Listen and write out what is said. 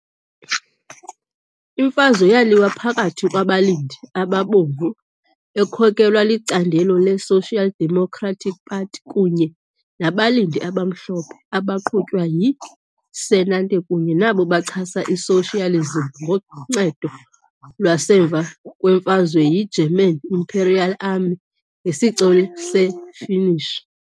Imfazwe yaliwa phakathi kwabalindi abaBomvu, ekhokelwa licandelo le-Social Democratic Party, kunye nabalindi abaMhlophe, abaqhutywa yi-senate kunye nabo bachasa i-socialism ngoncedo lwasemva kwemfazwe yi-German Imperial Army ngesicelo se-Finnish.